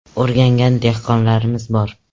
O‘rgangan dehqonlarimiz bor.